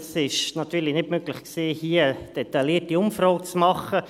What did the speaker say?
Es war natürlich nicht möglich, hier eine detaillierte Umfrage zu machen.